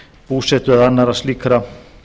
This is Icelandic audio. búsetu eða annarra slíkra